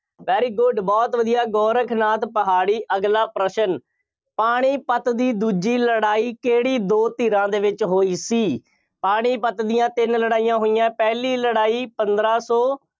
very good ਬਹੁਤ ਵਧੀਆ ਗੋਰਖਨਾਥ ਪਹਾੜੀ। ਅਗਲਾ ਪ੍ਰਸ਼ਨ, ਪਾਣੀਪਤ ਦੀ ਦੂਜੀ ਲੜਾਈ ਕਿਹੜੀ ਦੋ ਧਿਰਾਂ ਦੇ ਵਿੱਚ ਹੋਈ ਸੀ, ਪਾਣੀਪਤ ਦੀਆਂ ਤਿੰਨ ਲੜਾਈਆਂ ਹੋਈਆਂ, ਪਹਿਲੀ ਲੜਾਈ ਪੰਦਰਾਂ ਸੌ